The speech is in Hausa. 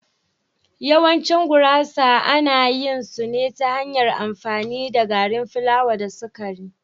Yawancin gurasa ana yin su ta hanyar amfani da gari plawa da sukari.